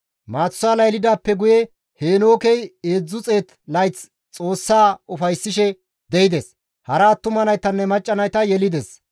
Maatusaala yelidaappe guye Heenookey 300 layth Xoossa ufayssishe de7ides; hara attuma naytanne macca nayta yelides.